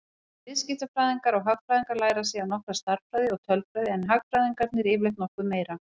Bæði viðskiptafræðingar og hagfræðingar læra síðan nokkra stærðfræði og tölfræði en hagfræðingarnir yfirleitt nokkuð meira.